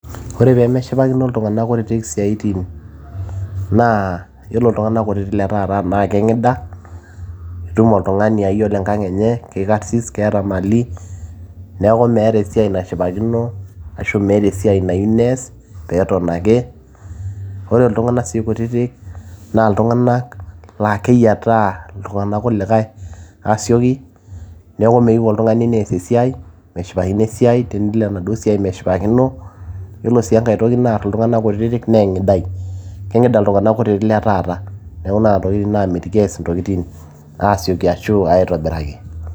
ore peemeshipakino iltung'anak kutitik isiaitin naa yiolo iltung'anak kutitik le taata naa keng'ida, itum oltung'ani aa yiolo enkang enye kikarsis keeta imali neeku meeta esiai nashipakino ashu meeta esiai nayieu nees peeton ake ore iltung'anak sii kutitik naa iltung'anak laa keyiataa iltung'anak kulikay aasioki neeku meyieu oltung'ani nees esiai meshipakino esiai, tenelo enaduo siai meshipakino yiolo sii enkay toki naarr iltung'anak kutitik naa eng'idai, keng'ida iltung'anak kutitik le taata neeku tokitin naamitiki ees intokitin aasioki ashu aitobiraki.